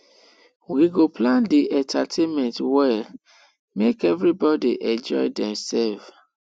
we go plan di entertainment well make everybodi enjoy demselves